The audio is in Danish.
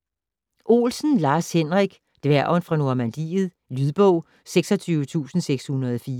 Olsen, Lars-Henrik: Dværgen fra Normandiet Lydbog 26604